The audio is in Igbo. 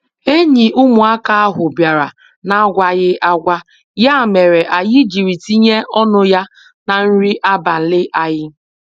Enyi ụmụaka ahụ bịara n'agwaghi agwa, ya mere anyị jiri tinye ọnụ ya na nri abalị anyị.